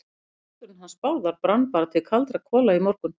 Nú, báturinn hans Bárðar brann bara til kaldra kola í morgun.